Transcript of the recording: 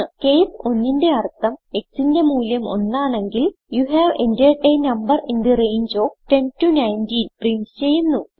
case 1ന്റെ അർഥം xന്റെ മൂല്യം ഒന്നാണെങ്കിൽ you have entered a number in the range of 10 19 print ചെയ്യുന്നു